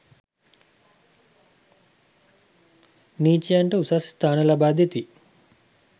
නීචයන්ට උසස් ස්ථාන ලබා දෙති.